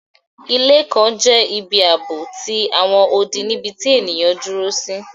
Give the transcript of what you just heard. Ilé kan jẹ ibi aabo ti awọn odi nibiti eniyan duro si